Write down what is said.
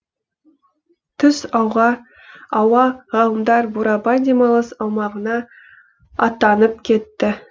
түс ауа ғалымдар бурабай демалыс аумағына аттанып кетті